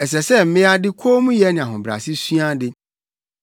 Ɛsɛ sɛ mmea de kommyɛ ne ahobrɛase sua ade.